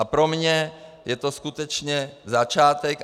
A pro mě je to skutečně začátek.